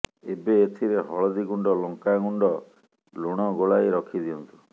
ଏବେ ଏଥିରେ ହଳଦୀ ଗୁଣ୍ଡ ଲଙ୍କା ଗୁଣ୍ଡ ଲୁଣ ଗୋଳାଇ ରଖିଦିଅନ୍ତୁ